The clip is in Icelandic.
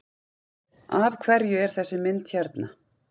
Af hverju er þessi mynd hérna?